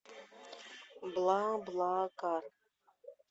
бла бла кар